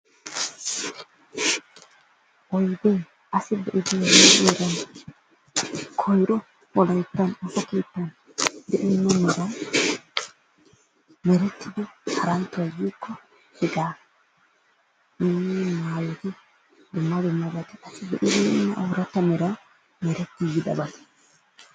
Oydee asi be'ibeena meran koyro wolayttan dumma meraan merettidi haranttoy diikki hegaa nu ayeeti dumma dumma oratta meraan merettigidabaa.